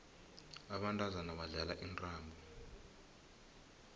abantazana badlala intambo